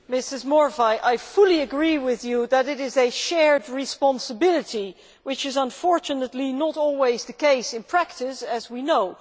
Mrs Morvai, I fully agree with you that it is a shared responsibility which is, unfortunately, not always the case in practice, as we know.